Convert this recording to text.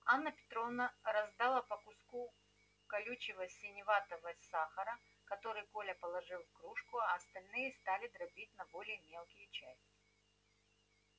анна петровна раздала по куску колючего синеватого сахара который коля положил в кружку а остальные стали дробить на более мелкие части